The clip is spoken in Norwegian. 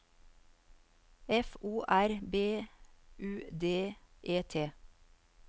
F O R B U D E T